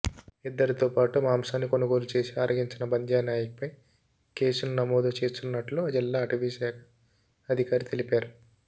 ఇద్దరితోపాటు మాంసాన్ని కొనుగోలు చేసి ఆరగించిన బంద్యానాయక్పైనా కేసును నమోదు చేస్తున్నట్లు జిల్లా అటవీశాఖ అధికారి తెలిపారు